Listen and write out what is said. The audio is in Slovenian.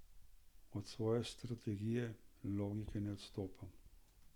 Od svoje strategije, logike ne odstopam.